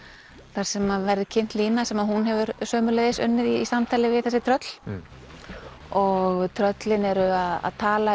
þar sem verður kynnt lína sem hún hefur sömuleiðis unnið í samtali við þessi tröll og tröllin eru að tala